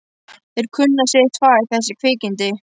Þeir kunna sitt fag, þessi kvikindi.